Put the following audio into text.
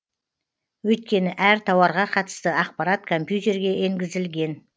өйткені әр тауарға қатысты ақпарат компьютерге енгізілген